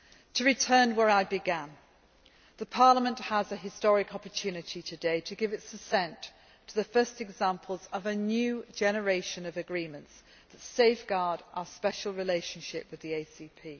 To return to where I began, Parliament has an historic opportunity today to give its assent to the first examples of a new generation of agreements that safeguard our special relationship with the